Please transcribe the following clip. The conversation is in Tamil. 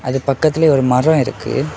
அது பக்கத்திலேயே ஒரு மரம் இருக்கு.